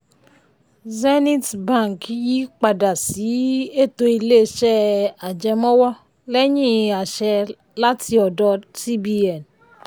um zenith um bank yí pada sí ètò ilé-iṣẹ́ ajẹmọ́wọ́ lẹ́yìn àṣẹ láti ọdọ cbn. um